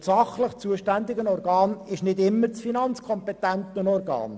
Das sachlich zuständige Organ ist aber nicht immer das finanzkompetente Organ.